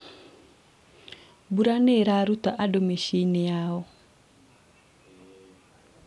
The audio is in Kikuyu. mbura nĩĩraruta andũ mici-inĩ yao